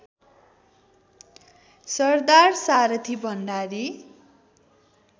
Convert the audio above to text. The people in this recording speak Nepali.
सरदार सारथी भण्डारी